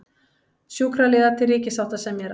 Sjúkraliðar til ríkissáttasemjara